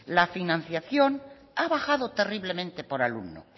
la financiación ha bajado terriblemente por alumno